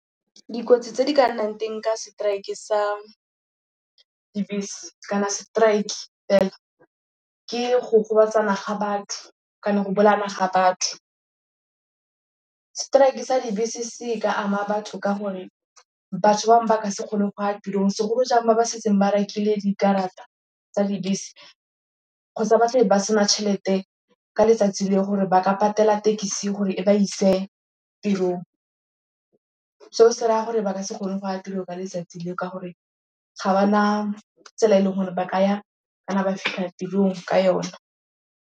Dikotsi tse di ka nnang teng ka strike-e sa dibese kana strike fela, ke go gobatsana ga batho kana go bolaana ga batho. Strike-e sa dibese se ka ama batho ka gore batho bangwe ba ka se kgone go ya tirong segolo jang ba ba setseng ba rekile dikarata tsa dibese. Kgotsa ba tla be ba sena tšhelete ka letsatsi le gore ba ka patela tekisi gore e ba ise tirong. Seo se raya gore ba ka se kgone go ya tirong ka letsatsi leo ka gore ga ba na tsela e leng gore ba ka ya kana ba fitlha tirong ka yona.